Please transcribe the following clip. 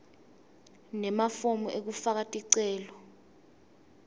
nemafomu ekufaka ticelo